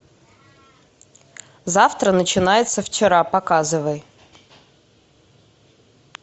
завтра начинается вчера показывай